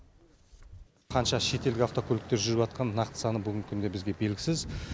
қанша шетелдік автокөліктер жүріватқан нақты саны бүгінгі күнде бізге белгісіз